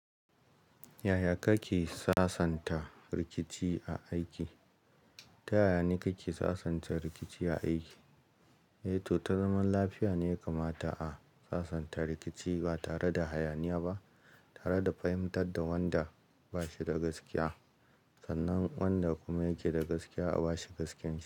Yaya kake sassanta rikici a aiki? Ta yaya ne kake sassanta rikici a aiki? Eh to, ta zaman lafiya ne ya kamata a sassanta rikici ba tare da hayaniya ba, tare da fahimtar da wanda ba shi da gaskiya. Sannan wanda kuma yake da gaskiya a ba shi gaskiya.